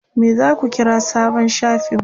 me zaku kira sabon shafin ku?